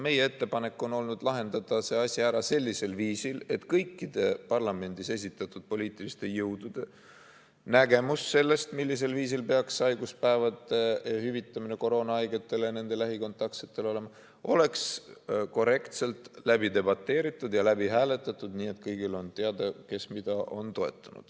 Meie ettepanek on olnud lahendada see asi ära sellisel viisil, et kõikide parlamendis esindatud poliitiliste jõudude nägemus sellest, mismoodi peaks haiguspäevade hüvitamine koroonahaigetele ja nende lähikontaktsetele toimuma, oleks korrektselt läbi debateeritud ja läbi hääletatud, nii et kõigile on teada, kes mida on toetanud.